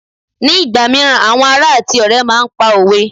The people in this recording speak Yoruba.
ní ìgbà míràn àwọn ará ati ọrẹ ma n pa òwe